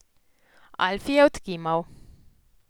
Alfi je odkimal.